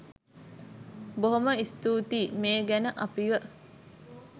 බොහොම ස්තූතියි මේ ගැන අපිව